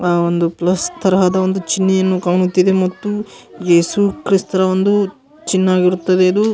ಅಹ್ ಒಂದು ಪ್ಲಸ್ ತರಹದ ಒಂದು ಚಿನ್ನೆಯನ್ನು ಕಾಣುತ್ತಿದೆ ಮತ್ತು ಯೇಸು ಕ್ರಿಸ್ತರ ಒಂದು ಚಿನ್ನೆಆಗಿರುತ್ತದೆ ಇದು.